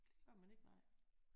Det gør man ikke nej